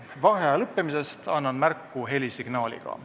Vaheaja lõppemisest annan märku helisignaaliga.